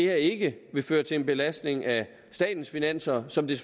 her ikke vil føre til en belastning af statens finanser som det